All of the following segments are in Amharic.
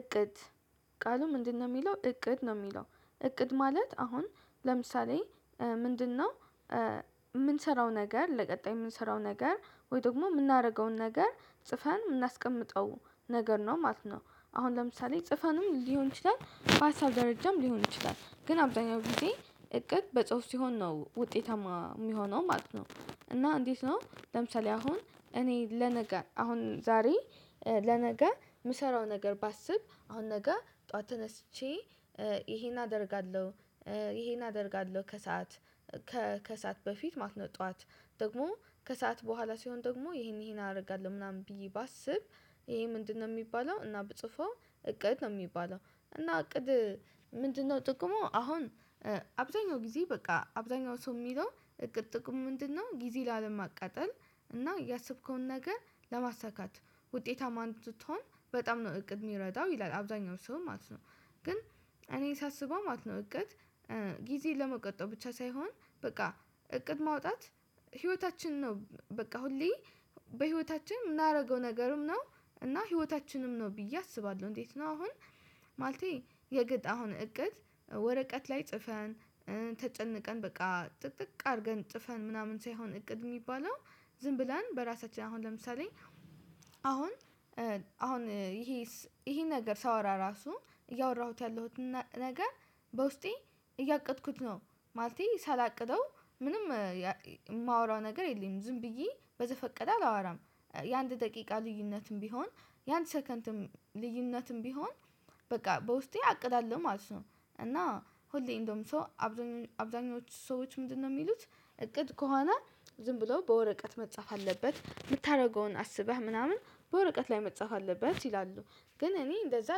እቅድ ቃሉ ምንድነው? የሚለው እቅድ ነው የሚለው እቅድ ማለት አሁን ለምሳሌ ምንድነው የምንሰራው ነገር ለቀጣይ የምንሰራው ነገር ወይም ደግሞ የምናደርገውን ነገር ጽፈን የምናስቀምጠው ነገር ነው ማለት ነው። አሁን ለምሳሌ ጽፈንም ሊሆን ይችላል በሀሳብ ደረጃም ሊሆን ይችላል ግን አብዛኛው ጊዜ እቅድ በጽሁፍ ሲሆን ነው ውጤታማ የሚሆነው ማለት ነው። እና እንዴት ነው ለምሳሌ አሁን እኔ ለነገ አሁን ዛሬ ለነገ የምሰራው ነገር ባስብ አሁን ነገ ጠዋት ተነስቼ ይሄን አደርጋለሁ። ከሰአት በፊት ማለት ነው ጠዋት ደግሞ ከሰአት በኋላ ሲሆን ደግሞ ይሄን አደርጋለሁ ምናምን ብዬ ባስብ ይሄ ምንድነው የሚባለው እና ብጽፈው እቅድ ነው የሚባለው። እና እቅድ ምንድነው ጥቅሙ? አሁን አብዛኛው ጊዜ በቃ አብዛኛው ሰው የሚለው እቅድ ጥቅሙ ምንድነው ጊዜ ላለማቀጠል እና ያሰብከውን ነገር ለማሳካት ውጤታማ እንዲትሆን በጣም ነው እቅድ የሚረዳው ይላል አብዛኛው ሰው ማለት ነው። ግን እኔ ሳስበው ማለት ነው እቅድ ጊዜ ለመቆጠብ ብቻ ሳይሆን በቃ እቅድ ማውጣት ህይወታችን ነው በቃ ሁሌ በህይወታችን የምናደርገው ነገርም ነው እና ህይወታችንም ነው ብዬ አስባለሁ። እንዴት ነው አሁን? ማለቴ ያወጣሁትን እቅድ ወረቀት ላይ ጽፈን ተጨንቀን በቃ ጥጥቅ አድርገን ጽፈን ምናምን ሳይሆን እቅድ የሚባለው ዝም ብለን በራሳችን አሁን ለምሳሌ አሁን ይሄ ነገር ሳወራ ራሱ እያወራሁት ያለሁትን ነገር በውስጤ እያቀድኩት ነው። ማለቴ ሳላቅደው ምንም የማወራው ነገር የለም ዝም ብዬ በዘፈቀደ አላወራም። የአንድ ደቂቃ ልዩነትም ቢሆን የአንድ ሰከንድም ልዩነትም ቢሆን በቃ በውስጤ አቅዳለሁ ማለት ነው። እና ሁሌ እንደውም ሰው አብዛኞቹ ሰዎች ምንድነው የሚሉት እቅድ ከሆነ ዝም ብለው በወረቀት መጻፍ አለበት የምታደርገውን አስበህ ምናምን በወረቀት ላይ መጻፍ አለበት ይላሉ። ግን እኔ እንደዛ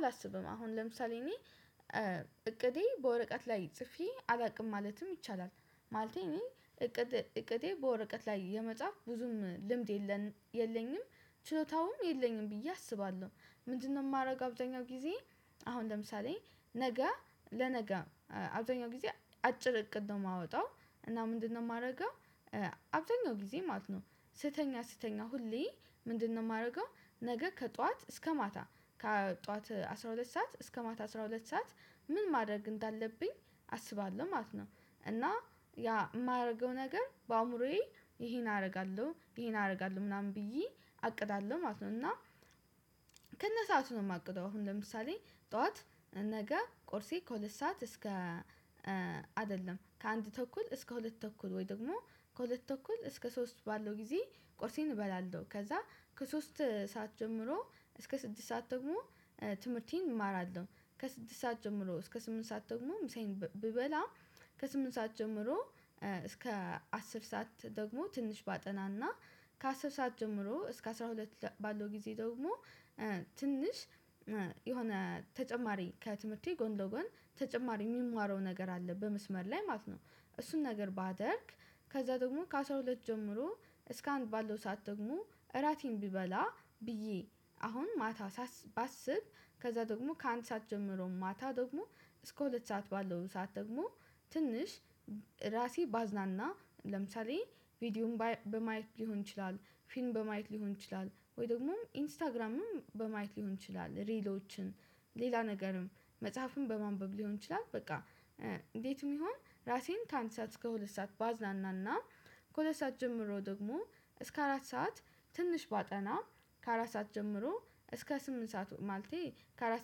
አላስብም። አሁን ለምሳሌ እኔ እቅዴ በወረቀት ላይ ጽፌ አላውቅም ማለትም ይቻላል። ማለቴ እኔ እቅዴ በወረቀት ላይ የመጻፍ ብዙም ልምድ የለኝም። ችሎታውም የለኝም ብዬ አስባለሁ። ምንድነው የማረገው? አብዛኛው ጊዜ አሁን ለምሳሌ ነገ ለነገ አብዛኛው ጊዜ አጭር እቅድ ነው የማወጣው። እና ምንድነው የማደርገው? አብዛኛው ጊዜ ማለት ነው። ስተኛ ስተኛ ሁሌ ምንድነው የማደርገው? ነገ ከጠዋት እስከ ማታ ከጠዋት አስራ ሁለት ሰዓት እስከ ማት አስራ ሁለት ሰዓት ምን ማድረግ እንዳለብኝ አስባለሁ ማለት ነው። እና ያ የማደርገው ነገር በአእምሮዬ ይሄን አደርጋለሁ ይሄን አደርጋለሁ ምናምን ብዬ አቅዳለሁ ማለት ነው። እና ከነሰአቱ ነው የማቅደው አሁን ለምሳሌ ጠዋት ነገ ቁርሴ ከሁለት ሰዓት እስከ አይደለም ከአንድ ተኩል እስከ ሁለት ተኩል ወይ ደግሞ ከሁለት ተኩል እስከ ሶስት ባለው ጊዜ ቁርሴን እበላለሁ ከዛ ከሶስት ሰዓት ጀምሮ እስከ ስድስት ሰዓት ደግሞ ትምህርቴን እማራለሁ። ከስድስት ሰዓት ጀምሮ እስከ ስምንት ሰዓት ደግሞ ምሳየን ብበላ። ከስምንት ሰዓት ጀምሮ እስከ አስር ሰዓት ደግሞ ትንሽ ባጠናና ከአስር ሰዓት ጀምሮ እስከ አስራ ሁለት ባለው ጊዜ ደግሞ ትንሽ የሆነ ተጨማሪ ከትምህርቴ ጎን ለጎን ተጨማሪ የምማረው ነገር አለ። በመስመር ላይ ማለት ነው እሱን ነገር ባደርግ። ከዛ ደግሞ ከአሥራ ሁለት ጀምሮ እስከ አንድ ባለው ሰዓት ደግሞ እራቴን ብበላ ብዬ አሁን ማታ ባስብ ከዛ ደግሞ ከአንድ ሰዓት ጀምሮ ማታ ደግሞ እስከ ሁለት ሰዓት ባለው ሰዓት ደግሞ ትንሽ ራሴን ባዝናና ለምሳሌ ቪዲዮም በማየት ሊሆን ይችላል። ፊልም በማየት ሊሆን ይችላል ወይ ደግሞ ኢንስታግራምም በማየት ሊሆን ይችላል ሪሎችን ሌላ ነገርም መጽሐፍም በማንበብ ሊሆን ይችላል። በቃ እንዴትም ይሁን ራሴን ከአንድ ሰዓት እስከ ሁለት ሰዓት ባዝናናና። ከሁለት ሰዓት ጀምሮ ደግሞ እስከ አራት ሰዓት። ትንሽ ባጠና ከአራት ሰዓት ጀምሮ እስከ ስምንት ሰዓት ማለቴ ከአራት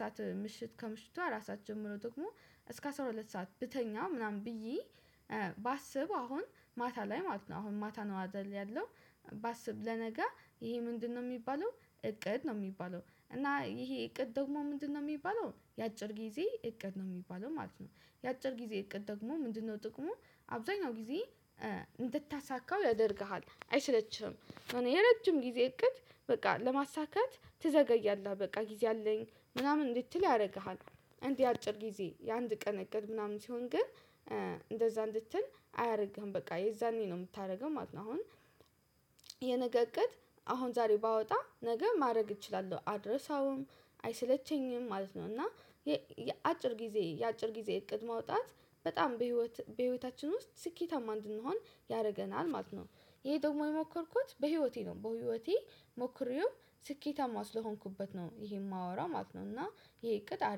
ሰዓት ምሽት ከምሽቱ አራት ሰዓት ጀምሮ ደግሞ እስከ አስራ ሁለት ሰዓት ብተኛ ምናምን ብዬ። ባስብ አሁን ማታ ላይ ማለት ነው። አሁን ማታ አይደል ያለው ባስብ ለነገ ይሄ ምንድነው የሚባለው እቅድ ነው የሚባለው። እና ይሄ እቅድ ደግሞ ምንድነው የሚባለው የአጭር ጊዜ እቅድ ነው የሚባለው ማለት ነው። የአጭር ጊዜ እቅድ ደግሞ ምንድነው ጥቅሙ? አብዛኛው ጊዜ እንድታሳካው ያደርግሃል አይሰለችህም። የረጅም ጊዜ እቅድ በቃ ለማሳካት ትዘገያለህ በቃ ጊዜ አለኝ ምናምን እንድትል ያደርግሃል። እንዲህ የአጭር ጊዜ የአንድ ቀን እቅድ ምናምን ሲሆን ግን እንደዛ እንድትል አያደርግህም በቃ የዛኔ ነው የምታደርገው ማለት ነው። አሁን የነገ እቅድ አሁን ዛሬ ባወጣ ነገ ማድረግ እችላለሁ አረሳውም። አይሰለቸኝም ማለት ነው። እና የአጭር ጊዜ እቅድ ማውጣት በጣም በህይወታችን ውስጥ ስኬታማ እንድንሆን ያደርገናል ማለት ነው። ይሄ ደግሞ የሞከርኩት በህይወቴ ነው በህይወቴ ሞክሬውም ስኬታማ ስለሆንኩበት ነው። ይሄ የማወራው ማለት ነው እና ይሄ እቅድ አሪፍ